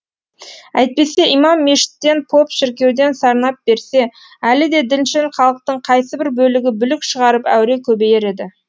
әйтпесе имам мешіттен поп шіркеуден сарнап берсе әлі де діншіл халықтың қайсыбір бөлігі бүлік шығарып әуре көбейер еді